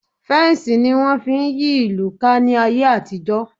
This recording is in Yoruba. Fensi ni wọn fi ń yí ìlú ká ní ayé àtijó